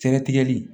Cɛ tigɛli